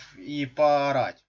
и поорать